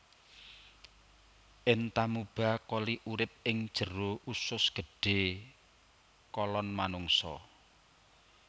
Entamuba coli urip ing jero usus gedhé kolon manungsa